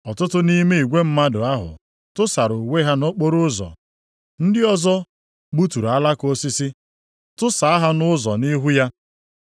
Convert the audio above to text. Ọtụtụ nʼime igwe mmadụ ahụ tụsara uwe ha nʼokporoụzọ. Ndị ọzọ gbuturu alaka osisi, tụsaa ha nʼụzọ nʼihu ya.